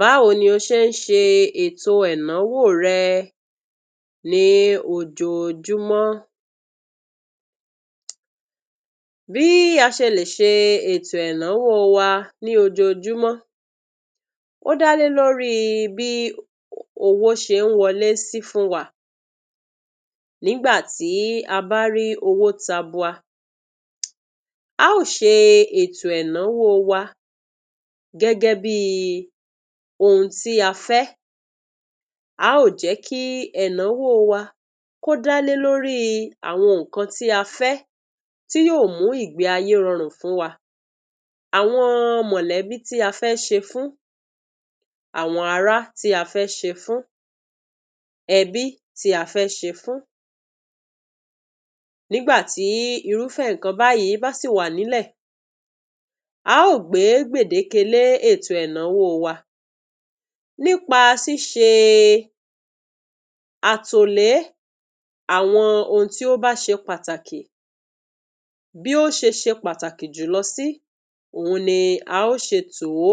Báwo ni o ṣe ń ṣe ètò ẹ̀náwó rẹ ní ojoojúmọ́? BÍ a ṣe lè ṣe ètò ẹ̀náwó wa ní ojoojúmọ́, ódá lé lórí bí owo ṣe ń wọlé sí fún wa. Nígbà tí a bá rí owó tabua, a ó ṣe ètò ẹ̀náwó wa gẹ́gẹ́ bíi ohun tí a fẹ́. A ó jẹ́ kí ẹ̀náwó wa kó dá lé lóríi àwọn nǹkan tí a fẹ́, tí yóò mú ìgbé ayé rọrùn fún wa. Àwọn mọ̀lẹ́bí tí a fẹ́ ṣe fún, àwọn ará tí a fẹ́ ṣe fún, ẹbí tí a fẹ́ ṣe fún. Nígbà tí irúfẹ́ nǹkan báyìí bá sì wà nílẹ̀, a ó gbé gbèdéke lé ètò ẹ̀náwó wa nípa ṣíṣe àtòlé àwọn ohun tí ó bá ṣe pàtàkì, bí ó ṣe ṣe pàtàkì jùlọ sí òhun ni a ó ṣe tò ó.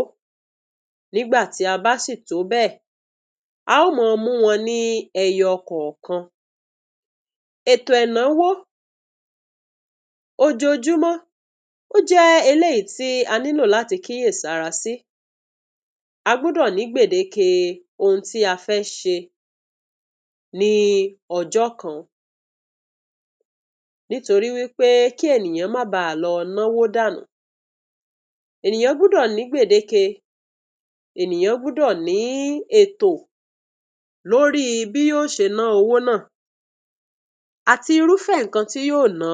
Nígbà tí a bá sì tò ó bẹ́ẹ̀, a ó máa mú wọn ní ẹyọkọ̀ọ̀kan. Ètò ẹ̀náwó ojoojúmọ́, ó jẹ́ eléyìí tí a nílò láti kíyèsára sí. A gbúdọ̀ ní gbèdéke ohun tí fẹ́ ṣe ní ọjọ́ kan, nítorí wí pé kí ènìyàn má lọ náwó dànù. Ènìyàn gbúdọ̀ ní gbèdéke, ènìyàn gbúdọ̀ ní ètò lóríi bí yó ṣe ná owó náà, àti irúfẹ́ nǹka tí yóò ná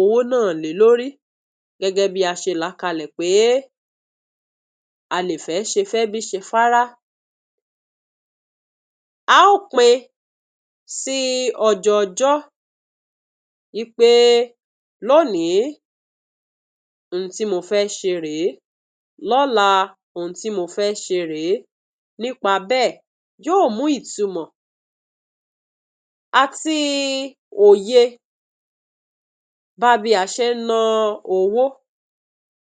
owó náà lé lórí gẹ́gẹ́ bí a ṣe làá kalẹ̀ pé a lè fẹ́ ṣe fẹ́bí, ṣe fárá. A ó pín-in sí ọjọọjọ́ wí pé lónìí, ohun tí mo fẹ́ ṣe rèé, lọ́la ohun tí mo fẹ́ ṣe rèé, nípa bẹ́ẹ̀, yóò mú ìtumọ̀ àti òye bá bí a ṣe ǹ ná owó,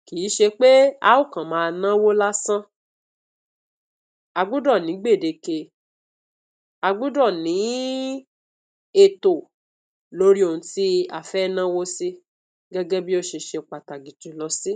kìí ṣe pé a ó kàn máa náwó lásán. A gbúdọ̀ ni gbèdéke, a gbúdọ̀ ní ètò lórí ohun tí a fẹ́ náwó sí gẹ́gẹ́ bí ó ṣe ṣe pàtàkì jùlọ sí.